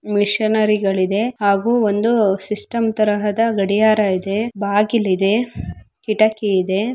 Missionary ಗಲಿದೆ ಹಾಗು ಒಂದು ಸಿಸ್ಟಮ್ ತರಹದ ಗಡಿಯಾರ ಇದೆ. ಬಾಗಿಲು ಇದೆ. ಇಟಕ್ಕಿ ಇದೆ.